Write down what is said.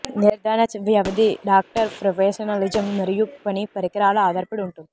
నిర్ధారణ వ్యవధి doctor professionalism మరియు పని పరికరాలు ఆధారపడి ఉంటుంది